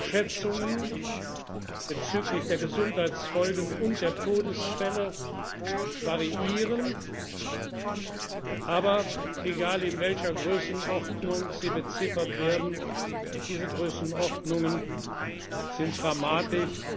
sein. Schätzungen bezüglich der Gesundheitsfolgen und der Todesfälle variieren. Aber egal, in welcher Größenordnung sie beziffert werden, diese Größenordnungen sind dramatisch.